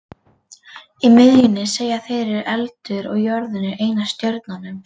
Í miðjunni, segja þeir, er eldur og jörðin er ein af stjörnunum.